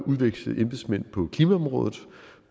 udveksle embedsmænd på klimaområdet